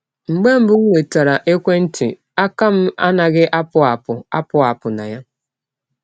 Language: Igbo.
“ Mgbe mbụ m nwetara ekwe ntị, aka m anaghị apụ apụ apụ apụ na ya.